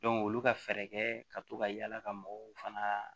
olu ka fɛɛrɛ kɛ ka to ka yala ka mɔgɔw fana